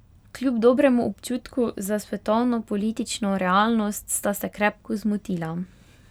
Kljub dobremu občutku za svetovno politično realnost sta se krepko zmotila.